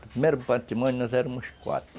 No primeiro matrimônio, nós éramos quatro.